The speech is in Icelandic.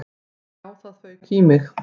Já, það fauk í mig.